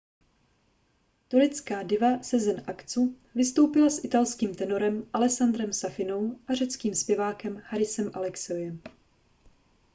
turecká diva sezen aksu vystoupila s italským tenorem alessandrem safinou a řeckým zpěvákem harisem alexiouem